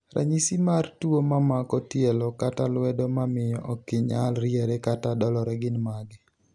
ranyisi mar tuo mamako tielo kata lwedo mamiyo okginyal riere kata dolore gin mage